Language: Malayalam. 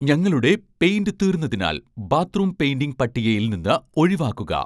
ഞങ്ങളുടെ പെയിന്റ് തീർന്നതിനാൽ ബാത്ത്റൂം പെയിന്റിംഗ് പട്ടികയിൽ നിന്ന് ഒഴിവാക്കുക